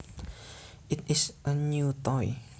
It is a new toy